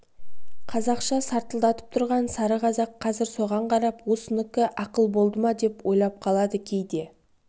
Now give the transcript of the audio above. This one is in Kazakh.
қазақша сартылдап тұрған сары қазақ қазір соған қарап осынікі ақыл болды ма деп ойлап қалады кейде